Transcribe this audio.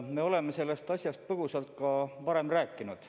Me oleme sellest asjast põgusalt ka varem rääkinud.